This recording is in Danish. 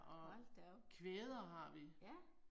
Hold da op. Ja